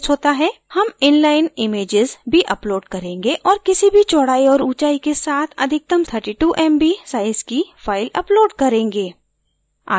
हम inlineimages भी upload करेंगे और किसी भी चौडाई और ऊँचाई के साथ अधिकतम 32mb size की file upload करेंगे